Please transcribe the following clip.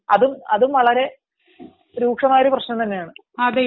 അതും വളരെ രൂക്ഷമായ ഒരു പ്രശ്നം തന്നെയാണ്